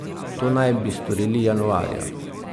To naj bi storili januarja.